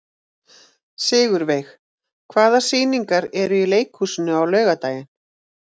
Sigurveig, hvaða sýningar eru í leikhúsinu á laugardaginn?